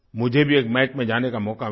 मुझे भी एक मैच में जाने का मौक़ा मिला